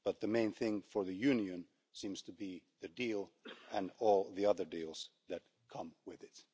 But the main thing for the Union seems to be the deal and all the other deals that come with it.